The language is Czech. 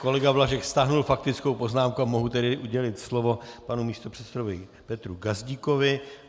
Kolega Blažek stáhl faktickou poznámku a mohu tedy udělit slovo panu místopředsedovi Petru Gazdíkovi.